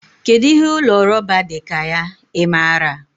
Kedụ ihe ụlọ rọba dị ka ya? Ị maara?